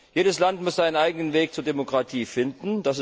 Jedes Land muss seinen eigenen Weg zur Demokratie finden.